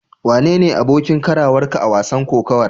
Wane ne abokin karawarka a wasan kokawar?